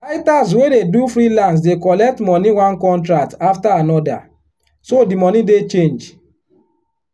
writers wey dey do freelance dey collect money one contract after another so the money dey change.